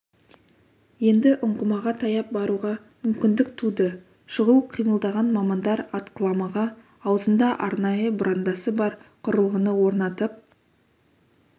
енді ұңғымаға таяп баруға мүмкіндік туды шұғыл қимылдаған мамандар атқыламаға аузында арнайы бұрандасы бар құрылғыны орнатып